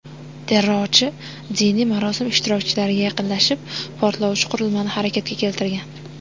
Terrorchi diniy marosim ishtirokchilariga yaqinlashib, portlovchi qurilmani harakatga keltirgan.